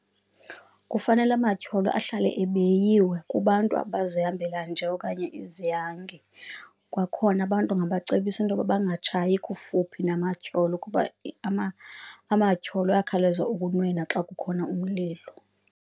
Kufanele amatyholo ahlale ebiyiwe kubantu abazihambela nje okanye izihange, kwakhona abantu ungabacebisa intoba bangatshayi kufuphi namatyholo kuba amtyholo ayakhawuleza ukunwenwa xa kukhona umlilo.